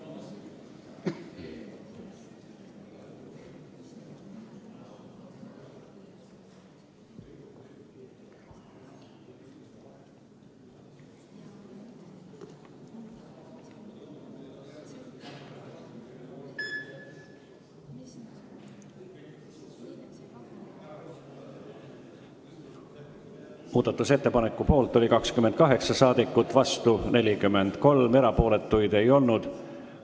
Hääletustulemused Muudatusettepaneku poolt oli 28 rahvasaadikut, vastu 43, erapooletuid ei olnud.